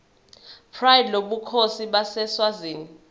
pride lobukhosi baseswazini